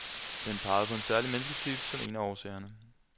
Den pegede på en særlig mennesketype som en af årsagerne.